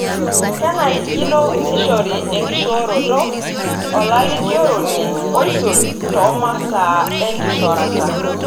Kenarikino neishori enkishooroto olalikioroni oisul toomasaa enkishorata.